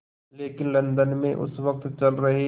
लेकिन लंदन में उस वक़्त चल रहे